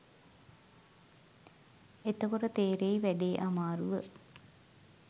එතකොට තේරෙයි වැඩේ අමාරුව